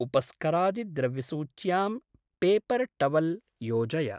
उपस्करादिद्रव्यसूच्यां paper towel योजय।